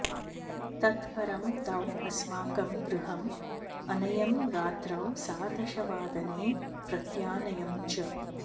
तत् परं तौ अस्माकं गृहम् अनयम् रात्रौ सार्धदशवादने प्रत्यानयम् च